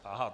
Aha.